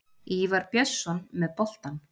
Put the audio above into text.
Ívar Björnsson með boltann.